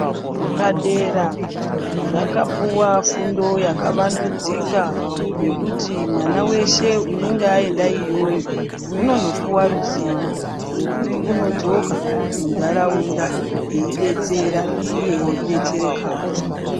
Zvepadera zvakapuwa fundo yakawandudzika yokuti mwana veshe unenge aenda iyoyo unonopuwa ruziwo rwokuti unodzoka muntaraunda eidetsera iye eidetserekawo .